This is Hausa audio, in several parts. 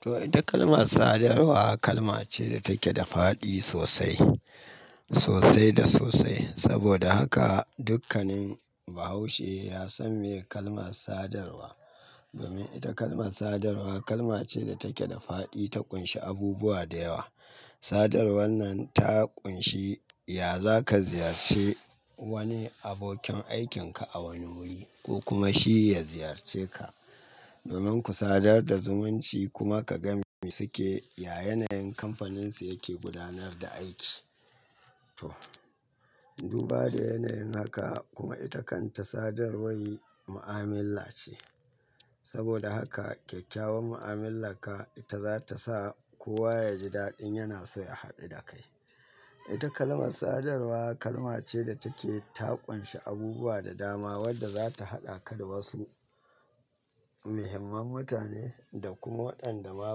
To ita kalmar sadarwa kalma ce da take da fa'di sosai, sosai da sosai. Saboda haka dukkanin bahaushe ya san me kalmar sadarwa. Domin ita kalmar sadarwa kalma ce da take da faɗi, ta ƙunshi abubuwa da yawa. Sadarwar nan ta ƙunshi, ya za ka ziyarci wani abokin aikin ka a wani wuri ko kuma shi ya ziyarce ka. Domin ku sadar da zumunci kuma ka ga me suke, ya yanayin kamfaninsu yake gudanar da aiki. To, duba da yanayin haka kuma ita kanta sadarwar mu'amila ce. Saboda haka kyakkyawan mu'amilarka ita za ta sa kowa ya ji daɗin yana so ya haɗu da kai. Ita kalmar sadarwa kalma ce da take ta ƙunshi abubuwa da dama wadda za ta haɗa ka da wasu muhimman mutane da kuma waɗanda ma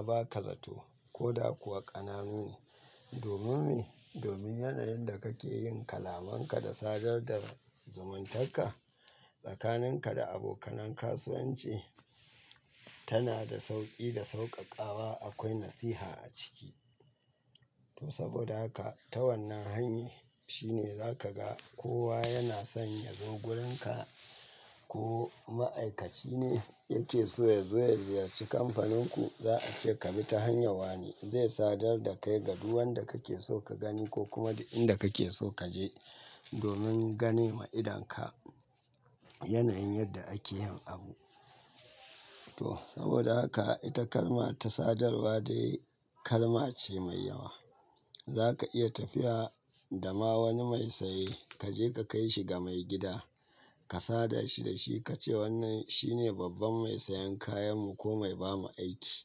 ba ka zato ko da kuwa ƙananu ne. Domin me? Domin yanayin da kake yin kalamanka da sadar da zumuntarka tsakaninka da abokanan kasuwanci tana da sauƙi da sauƙaƙawa akwai nasiha a ciki. To saboda haka ta wannan hanyar shine za ka ga kowa yana son ya zo wurinka ko ma'aikaci ne yake so yazo ya ziyarci kamfaninku, za a ce ka bi ta hanyar wane. Zai sadar da kai ga duk wanda kake so ka gani ko kuma duk inda kake so ka je domin ganewa idonka yanayin yadda ake yin abu. To saboda haka ita kalma ta sadarwa dai kalma ce mai yawa. Za ka iya tafiya da ma wani mai saye kaje ka kai shi ga maigida, ka sada shi da shi ka ce wannan shine babban mai sayan kayan mu ko mai bamu aiki.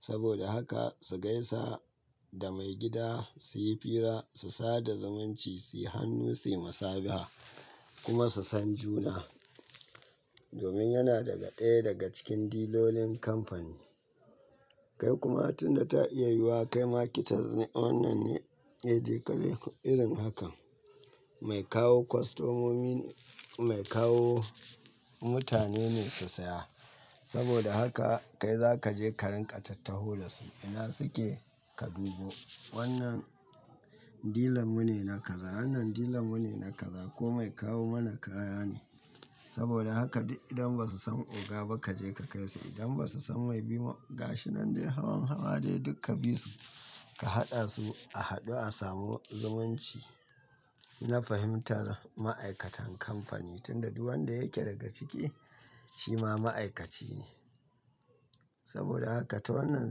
Saboda haka su gaisa da maigida, su yi fira, su sada zumunci, su yi hannu, su yi musabaha kuma su san juna. Domin yana daga ɗaya daga cikin dilolin kamfani. Kai kuma tunda ta iya yiwuwa kai marketers ne wannan ne, eh dai ƙalai irin hakan. Mai kawo kwastomomi mai kawo mutane ne su saya. Saboda haka kai za ka je ka rinƙa tattaho da su, ina suke ka dubo. Wannan dilan mu ne na kaza, wannan dilan mu ne na kaza ko mai kawo mana kaya ne. Saboda haka idan ba su san oga ba kaje ka kai su, idan ba su san mai bi mu gashi nan dai hawan hawa dai duk ka bi su. Ka haɗa su a haɗu a samu zumunci na fahimtar ma'aikatan kamfani tunda duk wanda yake daga ciki shi ma ma'aikaci ne. Saboda haka ta wannan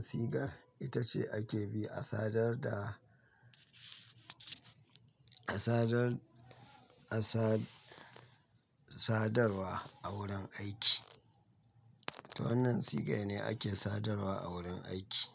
sigar ita ce ake bi a sadar da, a sadar, a sadarwa a wurin aiki. To wannan siga ne ake sadarwa a wurin aiki.